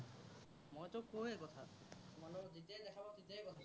মইতো কওৱেই কথা। তোমাৰ লগত যেতিয়াই দেখা পাও, তেতিয়াই কথা পাতো।